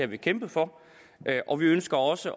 vi kæmpet for og vi ønsker også